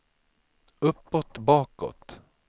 uppåt bakåt